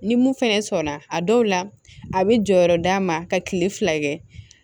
Ni mun fɛnɛ sɔnna a dɔw la a bɛ jɔyɔrɔ d'a ma ka kile fila kɛ